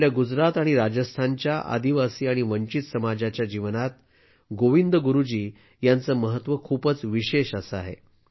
आपल्या गुजरात आणि राजस्थानच्या आदिवासी आणि वंचित समाजाच्या जीवनात गोविंदगुरु जी यांचं महत्त्व खूपच विशेष असं आहे